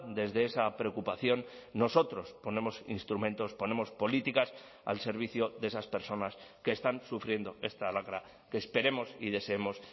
desde esa preocupación nosotros ponemos instrumentos ponemos políticas al servicio de esas personas que están sufriendo esta lacra que esperemos y deseemos